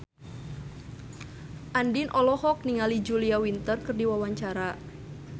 Andien olohok ningali Julia Winter keur diwawancara